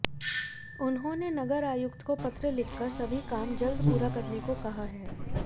उन्होंने नगर आयुक्त को पत्र लिखकर सभी काम जल्द पूरा करने का कहा है